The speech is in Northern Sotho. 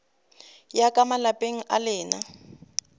ya ka malapeng a lena